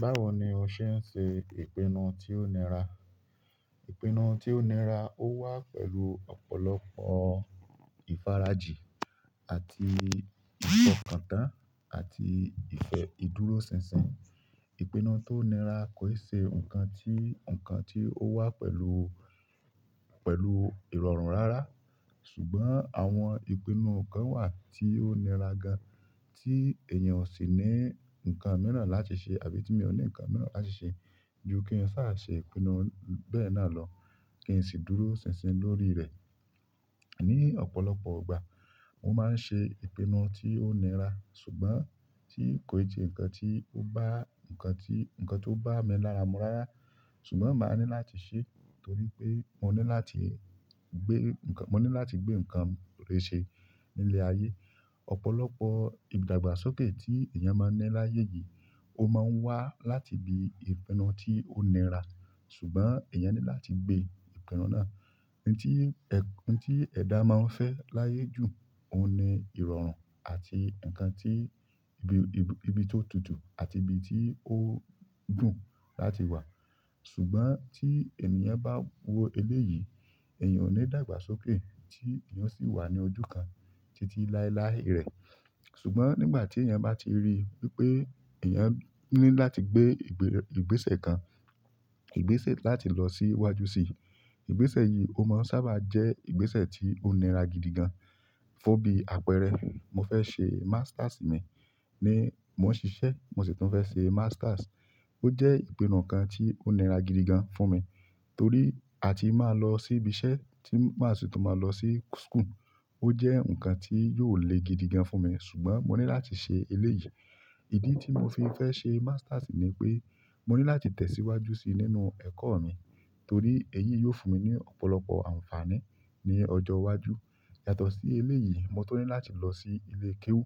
Báwo ni o ṣe ń ṣe ìpinnu tí ó nira? Ìpinnu tí ó nira ó wá pẹ̀lú ọ̀pọ̀lọpọ̀ ìfarajì àti ìfọkàntán àti ìfẹ́ ìdúróṣinṣin. Ìpinnu tó nira kò ṣe nǹkan tí, nǹkan tí ó wá pẹ̀lú, pẹ̀lú ìrọ̀rùn rárá. Ṣùgbọ́n àwọn ìpinnu kan wà tí ó nira gan, tí èèyàn ò sì ní nǹkan mìíràn láti ṣe àbí tí èmi ò ní nǹkan mìíràn láti ṣe. Ju kí ń sa ṣe ìpinnu bẹ́ẹ̀ náà lọ kí n sì dúró ṣinṣin lórí rẹ̀. Ni ọ̀pọ̀lọpọ̀ ìgbà, mo máa ń ṣe ìpinnu tí ó nira ṣùgbọ́n tí kò ì tí ì nǹkan tí ó bá, nǹkan tí, nǹkan tí ó bá mi lára mú rara. Ṣùgbọ́n màá ní láti ṣe torí pé mo ní láti gbé nǹkan, mo ní láti gbé nǹkan rere ṣe nílé ayé. Ọ̀pọ̀lọpọ̀ ìdàgbàsókè tí èèyàn máa ń ní láyé yìí ó máa ń wá láti ibi ìpinnu tí ó nira. Ṣùgbọ́n èèyàn ní láti gbé ìpinnu náà. Ohun tí ẹ̀, ohun tí ẹ̀dá máa ń fẹ́ láyé jù ó ní ìrọ̀rùn àti nǹkan tí ibi, ibi tó tutù àti ibi tí ó dùn láti wà. Ṣùgbọ́n tí ènìyàn bá wo eléyìí, èèyàn ò ní dàgbàsókè tí èèyàn sì wà ní ojú kan títí láéláé rẹ̀. Ṣùgbọ́n nígbà ti ènìyàn ba ti ri, wípé eyan ni láti gbe igbese kan, igbese láti lo si waju si ìgbésẹ̀ yìí ó máa ń sábà jẹ́ ìgbésẹ̀ tí ó nira gidi gan. Fún bí àpẹẹrẹ, mo fẹ́ ṣe masters mi ní mò ń ṣiṣẹ́, mo sì tún fẹ́ ṣe masters. Ó jẹ́ ìpinnu kan tí ó nira gidi gan fún mi torí a ti máa lọ sí ibi iṣẹ́ tí màá sì tún máa lọ sí school. Ó jẹ́ nǹkan tí yóò le gidi gan fún mi ṣùgbọ́n mo ní láti se eléyìí. Ìdí tí mo fi fẹ́ ṣe masters ni pé mo ní láti tẹ̀síwájú si nínú ẹ̀kọ́ mi torí èyí yóò fún mi ní ọ̀pọ̀lọpọ̀ àǹfààní ní ọjọ́ iwájú. Yàtọ̀ sí eléyìí, mo tó ní láti lọ sí ilé kéwú